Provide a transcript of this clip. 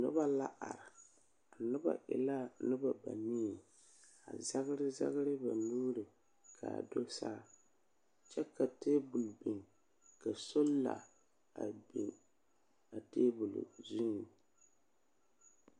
Nobɔ la are. A nobɔ e la nobɔ banii, a zɛgere zɛgere ba nuuri kaa do saa kyɛ ka teebul biŋ, ka sola a biŋ a teebil zuiŋ.